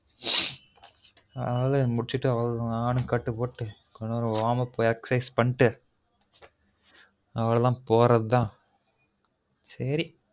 ஆஹ் வேலய முடிச்சுட்டு நானும் கட்டு போட்டுட்டு warmup excercise பண்ணிட்டு அவ்ளொ தான் போறது தான் சேரி